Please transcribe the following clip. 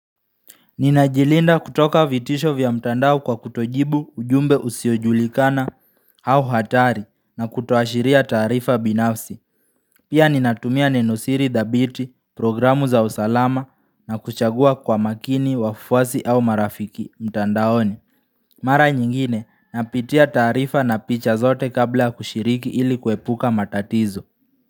Ninajilinda kutoka vitisho vya mtandao kwa kutojibu ujumbe usiojulikana au hatari na kutoashiria taarifa binafsi. Pia ninatumia nenosiri dhabiti, programu za usalama na kuchagua kwa makini, wafuwasi au marafiki mtandaoni. Mara nyingine napitia taarifa na picha zote kabla kushiriki ili kuepuka matatizo.